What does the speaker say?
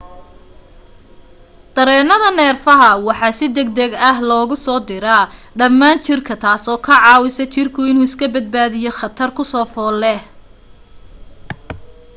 dareenada neerfaha waxa si degdeg ah loogu diraa dhammaan jirka taasoo ka caawisa jirka inuu iska badbaadiyo khatar ku soo fool leh